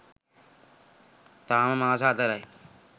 තාම මාස හතරයි.